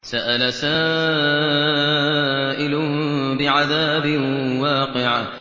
سَأَلَ سَائِلٌ بِعَذَابٍ وَاقِعٍ